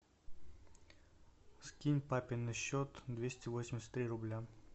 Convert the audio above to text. скинь папе на счет двести восемьдесят три рубля